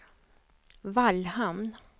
Vallhamn